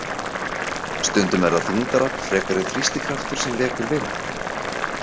Stundum er það þyngdarafl frekar en þrýstikraftur sem vekur vind.